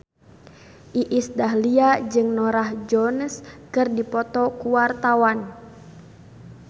Iis Dahlia jeung Norah Jones keur dipoto ku wartawan